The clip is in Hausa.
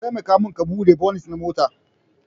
Taimaka min ka Bude bonit na mota.